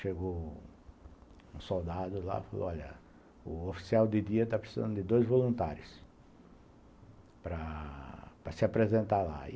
Chegou um soldado lá e falou, olha, o oficial de dia está precisando de dois voluntários para para se apresentar lá.